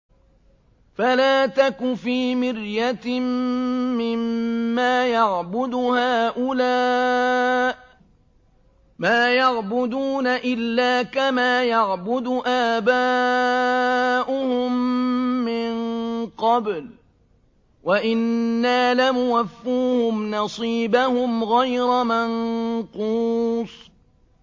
فَلَا تَكُ فِي مِرْيَةٍ مِّمَّا يَعْبُدُ هَٰؤُلَاءِ ۚ مَا يَعْبُدُونَ إِلَّا كَمَا يَعْبُدُ آبَاؤُهُم مِّن قَبْلُ ۚ وَإِنَّا لَمُوَفُّوهُمْ نَصِيبَهُمْ غَيْرَ مَنقُوصٍ